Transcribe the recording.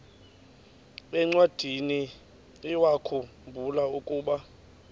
encwadiniwakhu mbula ukuba